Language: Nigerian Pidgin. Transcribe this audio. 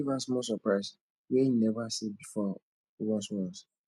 giv am smal soprise wey em neva see bifor ones ones